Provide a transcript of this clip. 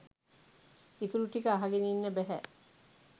ඉතුරු ටික අහගෙන ඉන්න බැහැ